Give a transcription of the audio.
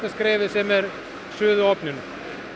skrefið sem er suðuofninn